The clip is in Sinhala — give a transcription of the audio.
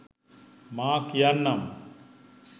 මා කියන්නම්.